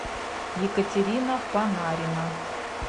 екатерина панарина